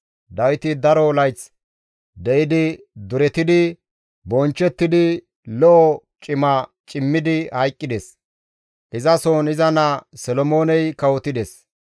Dawiti daro layth de7idi duretidi, bonchchettidi, lo7o cima cimmidi hayqqides; izasohon iza naa Solomooney kawotides.